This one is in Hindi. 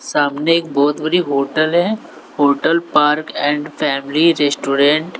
सामने एक बहोत बड़ी होटल हैं hotel park and family restaurant --